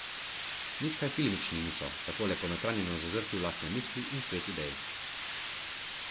Nič kaj filmični niso, takole ponotranjeno zazrti v lastne misli in svet idej.